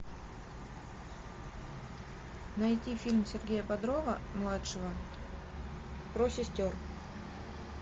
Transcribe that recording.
найти фильм сергея бодрова младшего про сестер